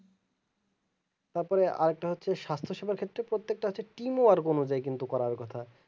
তারপরে আরেকটা হচ্ছে স্বাস্থ সীমার ক্ষেত্রে প্রত্যেকটা হচ্ছে team work অনুযায়ী কিন্তু করার কথা